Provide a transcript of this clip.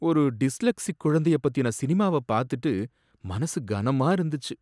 ஒரு டிஸ்லெக்ஸிக் குழந்தைய பத்தின சினிமாவ பாத்துட்டு மனசு கனமா இருந்துச்சு.